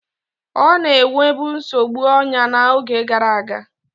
Ọ na-enwebu nsogbu anya n'oge gara aga.